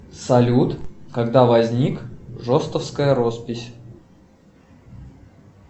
салют когда возник жостовская роспись